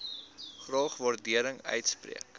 graag waardering uitspreek